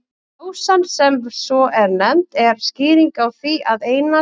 Pásan, sem svo er nefnd, er skýringin á því að Einar